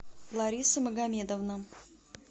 лариса магомедовна